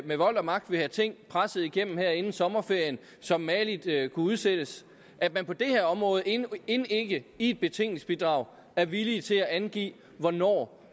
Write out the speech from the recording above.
med vold og magt vil have ting presset igennem her inden sommerferien som mageligt kunne udsættes at man på det her område end ikke i et betænkningsbidrag er villig til at angive hvornår